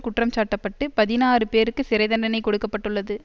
குற்றம் சாட்டப்பட்டு பதினாறு பேருக்கு சிறை தண்டனை கொடுக்க பட்டுள்ளது